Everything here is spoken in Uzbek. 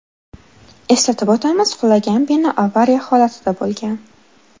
Eslatib o‘tamiz, qulagan bino avariya holatida bo‘lgan.